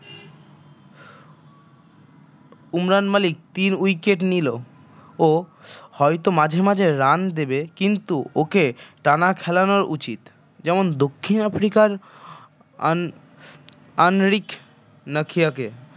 ওমরান মালিক তিন wicket নিল ও হয়ত মাঝে মাঝে run দেবে কিন্তু ওকে টানা খেলানো উচিত যেমন দক্ষিন আফ্রিকার আন আনরিক নাখিয়াকে